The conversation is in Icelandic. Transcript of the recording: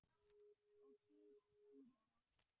Og hið síðara